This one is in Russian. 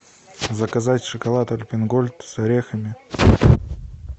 заказать шоколад альпен гольд с орехами